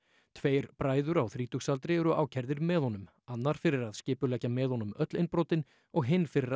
tveir bræður á þrítugsaldri eru ákærðir með honum annar fyrir að skipuleggja með honum öll innbrotin og hinn fyrir að